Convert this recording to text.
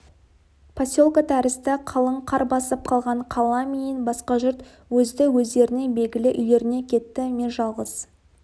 поселке тәрізді қалың қар басып қалған қала менен басқа жұрт өзді-өздерінің белгілі үйлеріне кетті мен жалғыз